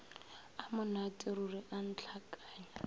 a monate ruri a ntlhakanya